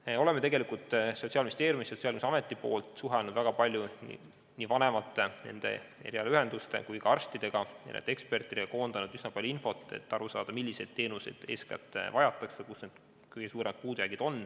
Me oleme tegelikult Sotsiaalministeeriumis Sotsiaalkindlustusameti poolt suhelnud väga palju nii vanemate, nende erialaühenduste kui ka arstide ja teiste ekspertidega ning kogunud üsna palju infot, et aru saada, milliseid teenuseid eeskätt vajatakse ja kus on kõige suuremad puudujäägid.